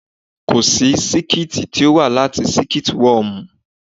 Kòsí sílíkì tí ó wá láti Siliki wọmu.